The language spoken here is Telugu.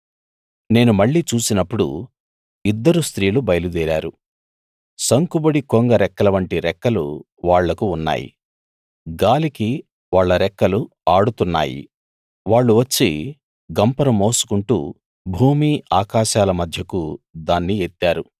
నేను మళ్ళీ చూసినప్పుడు ఇద్దరు స్త్రీలు బయలుదేరారు సంకుబుడి కొంగ రెక్కలవంటి రెక్కలు వాళ్లకు ఉన్నాయి గాలికి వాళ్ళ రెక్కలు ఆడుతున్నాయి వాళ్ళు వచ్చి గంపను మోసుకుంటూ భూమి ఆకాశాల మధ్యకు దాన్ని ఎత్తారు